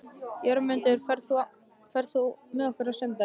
Jörmundur, ferð þú með okkur á sunnudaginn?